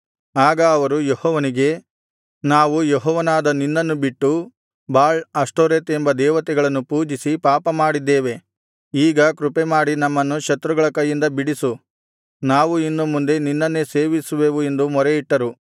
ಆಗ ಅವರು ಯೆಹೋವನಿಗೆ ನಾವು ಯೆಹೋವನಾದ ನಿನ್ನನ್ನು ಬಿಟ್ಟು ಬಾಳ್ ಅಷ್ಟೋರೆತ್ ಎಂಬ ದೇವತೆಗಳನ್ನು ಪೂಜಿಸಿ ಪಾಪಮಾಡಿದ್ದೇವೆ ಈಗ ಕೃಪೆಮಾಡಿ ನಮ್ಮನ್ನು ಶತ್ರುಗಳ ಕೈಯಿಂದ ಬಿಡಿಸು ನಾವು ಇನ್ನು ಮುಂದೆ ನಿನ್ನನ್ನೇ ಸೇವಿಸುವೆವು ಎಂದು ಮೊರೆಯಿಟ್ಟರು